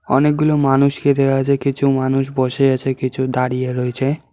অনেকগুলো মানুষকে দেখা যায় কিছু মানুষ বসে আছে কিছু দাঁড়িয়ে রয়েছে।